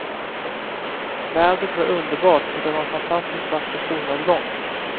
Vädret var underbart och det var en fantastiskt vacker solnedgång.